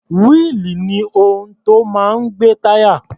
Wíìlì ni ohun tó máa ń gbé táyà.